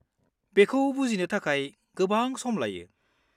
बेखौ बुजिनो थाखाय गोबां सम लायो।